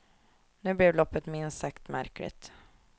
Nu blev loppet minst sagt märkligt.